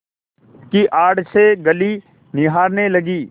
की आड़ से गली निहारने लगी